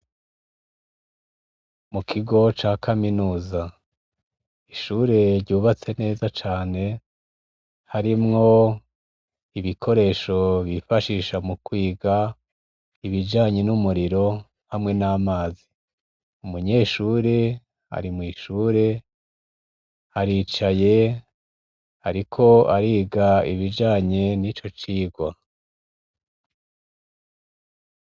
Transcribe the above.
Mu kigo c' akaminuza, ishure ry' ubatse neza cane har' icumba kirimw' ibikoresho bifashisha mu kwig' ibijanye n' umuyagankuba hamwe n' amazi, umunyeshur' arimwishur' aricay' arik' arig' ibijanye n' icocigwa.